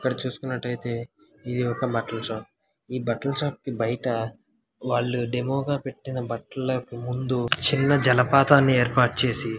ఇక్కడ చూసుకున్నటైతే ఇది ఒక బట్టల షాప్ ఈ బట్టల షాప్ కి బయట వాళ్లు డెమో గా పెట్టిన బట్టలకు ముందు చిన్న జలపాతని ఏర్పాటుచేసి.